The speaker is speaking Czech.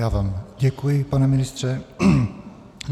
Já vám děkuji, pane ministře.